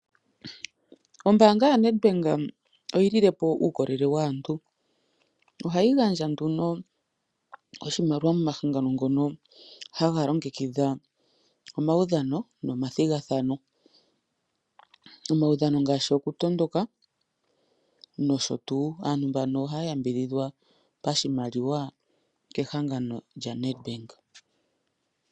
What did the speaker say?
Ombaanga ya Nedbank oye lilepo uukolele Waantu ohayi gandja nduno oshimaliwa komahangano ngono haga longekidha omaudhano nomathigathano . Omaudhano ngaashi oku tondoka nosho tuu. Aantu mbano ohaya yambidhidhwa pashimaliwa kehangano lyo Nedbank